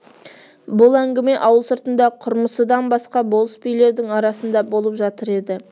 бұл әңгіме ауыл сыртында құрмысыдан басқа болыс-билердің арасында болып жатыр еді